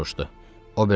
Vasya soruşdu.